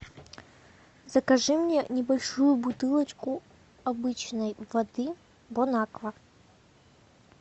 закажи мне небольшую бутылочку обычной воды бонаква